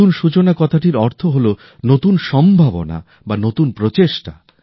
নূতন সূচনা কথাটির অর্থ হলো নতুন সম্ভাবনা বা নতুন প্রচেষ্টা